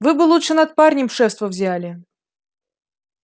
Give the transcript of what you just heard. вы бы лучше над парнем шефство взяли